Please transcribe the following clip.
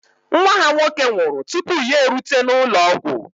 Nwa ha nwoke nwụrụ tupu ya erute n'ụlọ ọgwụ